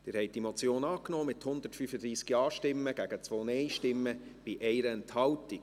Sie haben diese Motion angenommen, mit 135 Ja- gegen 2 Nein-Stimmen bei 1 Enthaltung.